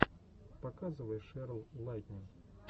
показывай шерл лайтнин